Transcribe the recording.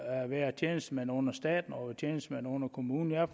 at være tjenestemand under staten og være tjenestemand under kommunen jeg